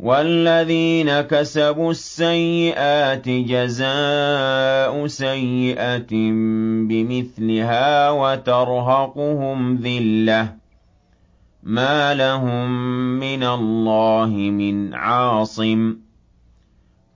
وَالَّذِينَ كَسَبُوا السَّيِّئَاتِ جَزَاءُ سَيِّئَةٍ بِمِثْلِهَا وَتَرْهَقُهُمْ ذِلَّةٌ ۖ مَّا لَهُم مِّنَ اللَّهِ مِنْ عَاصِمٍ ۖ